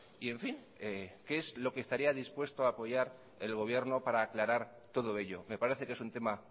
y en fin qué es lo que estaría dispuesto a apoyar el gobierno para aclarar todo ello me parece que es un tema